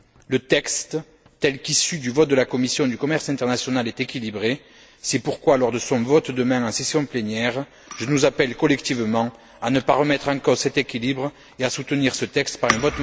Le texte tel qu'issu du vote de la commission du commerce international est équilibré, c'est pourquoi lors de son vote, demain, en session plénière, je nous appelle collectivement à ne pas remettre en cause cet équilibre et à soutenir ce texte par un vote massif.